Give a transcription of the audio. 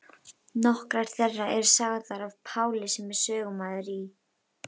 Nokkrar þeirra eru sagðar af Páli sem er sögumaður í